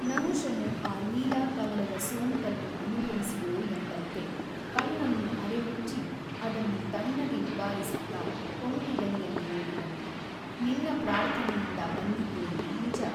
ನಹುಷನು ಆ ಲೀಲಾಕಮಲದ ಸೋಂಕನ್ನು ಅನುಭವಿಸಿಯೋ ಎಂಬಂತೆ ಕಣ್ಣನ್ನು ಅರೆಮುಚ್ಚಿ ಅದನ್ನು ತಣ್ಣಗೆ ನಿವಾರಿಸುತ್ತ ಕೊಂಕುದನಿಯಲ್ಲಿ ಹೇಳಿದನು ನಿನ್ನ ಪ್ರಾರ್ಥನೆಯಿಂದ ಬಂದಿದ್ದೇನೆ ನಿಜ.